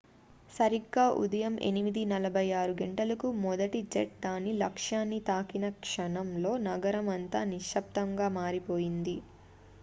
సరిగ్గా ఉదయం 8:46 గంటలకు మొదటి జెట్ దాని లక్ష్యాన్ని తాకిన క్షణంలో నగరం అంతా నిశబ్దంగా మారిపోయింది